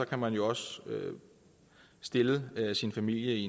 kan man jo også stille sin familie i